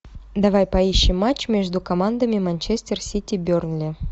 давай поищем матч между командами манчестер сити бернли